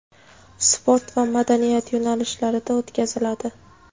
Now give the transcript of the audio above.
sport va madaniyat yo‘nalishlarida o‘tkaziladi.